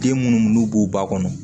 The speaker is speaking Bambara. Den munnu b'u ba kɔnɔ